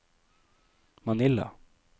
Manila